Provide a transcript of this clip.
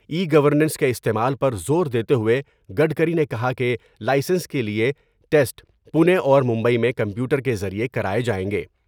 ای governance کے استعمال پر زور دیتے ہوۓ گڈکری نے کہا کہ لائسنس کے لئے ٹیسٹ پونے اور مبئی میں کمپیوٹر کے ذریعے کراۓ جاۓ گے ۔